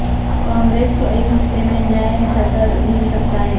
کانگریس کو ایک ہفتہ میں نئے صدر مل سکتا ہے